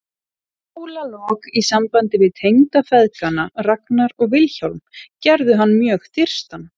Málalok í sambandi við tengdafeðgana Ragnar og Vilhjálm gerðu hann mjög þyrstan.